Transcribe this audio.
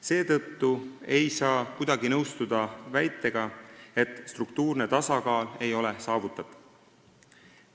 Seetõttu ei saa kuidagi nõustuda väitega, nagu struktuurne tasakaal ei oleks saavutatud.